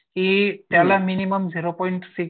त्याला minimum zero point six